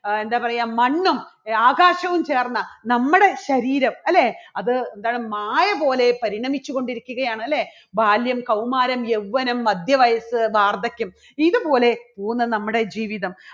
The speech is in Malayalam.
ആ എന്താ പറയുക മണ്ണും ആകാശവും ചേർന്ന നമ്മുടെ ശരീരം അല്ലേ അത് എന്താണ് മായ പോലെ പരിണമിച്ചു കൊണ്ടിരിക്കുകയാണ്, അല്ലേ? ബാല്യം, കൗമാരം, യൗവനം, മധ്യവയസ്സ്, വാർദ്ധക്യം ഇതുപോലെ പോകുന്നു നമ്മുടെ ജീവിതം.